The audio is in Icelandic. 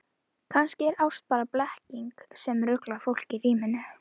Kannski er ástin bara blekking sem ruglar fólk í ríminu.